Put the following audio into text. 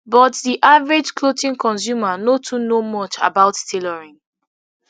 but di average clothing consumer no too know much about tailoring